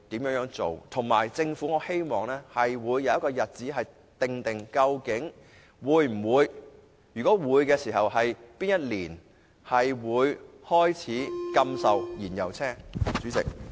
我亦希望政府公布會否訂定禁售燃油車輛的確切日期，如果會，當局會在哪一年開始實行？